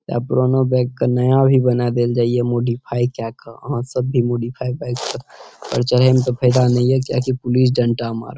आइब्रोना bike के नया भी बना देल जाय ये मॉडिफाई केए के आहां सब भी मॉडिफाई बाइक पर चढ़े मे ते फायदा ने ये पुलिस डंडा मारत ।